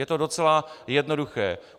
Je to docela jednoduché.